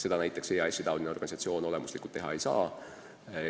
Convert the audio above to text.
Seda EAS-i-taoline organisatsioon olemuslikult teha ei saa.